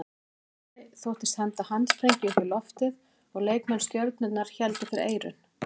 Halldór Orri þóttist henda handsprengju upp í loftið og leikmenn Stjörnunnar héldu fyrir eyrun.